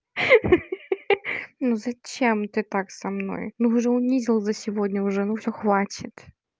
хи-хи ну зачем ты так со мной ну уже унизил за сегодня уже ну всё хватит